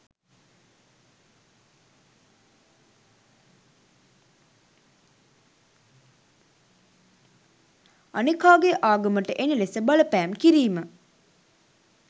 අනෙකාගේ ආගමට එන ලෙස බලපෑම් කිරීම.